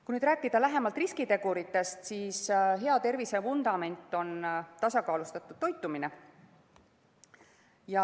Kui rääkida lähemalt riskiteguritest, siis hea tervise vundament on tasakaalustatud toitumine.